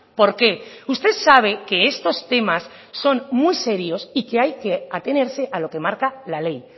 por qué usted sabe que estos temas son muy serios y que hay que atenerse a lo que marca la ley